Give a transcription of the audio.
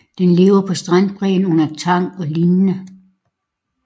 Den lever på strandbredden under tang og lignende